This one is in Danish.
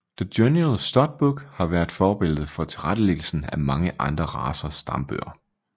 The General Stud Book har været forbillede for tilrettelæggelsen af mange andre racers stambøger